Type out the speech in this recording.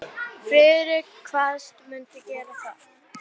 Friðrik kvaðst mundu gera það.